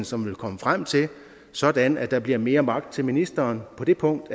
som vil komme frem til sådan at der bliver mere magt til ministeren på det punkt